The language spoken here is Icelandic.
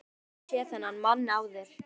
Ég hafði aldrei séð þennan mann áður.